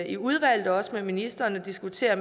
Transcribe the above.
i udvalget og også med ministeren at diskutere